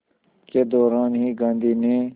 के दौरान ही गांधी ने